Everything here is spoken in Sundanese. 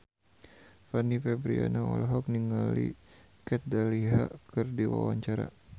Fanny Fabriana olohok ningali Kat Dahlia keur diwawancara